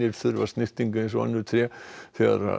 þurfa snyrtingu eins og önnur tré þegar